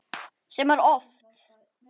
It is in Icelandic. Sem er oft.